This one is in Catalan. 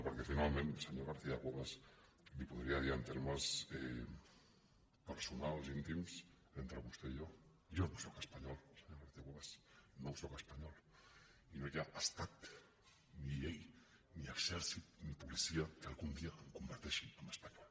perquè finalment senyora garcia cuevas li ho podria dir en termes personals íntims entre vostè i jo jo no sóc espanyol senyora garcia cuevas no sóc espanyol i no hi ha estat ni llei ni exèrcit ni policia que algun dia em converteixi en espanyol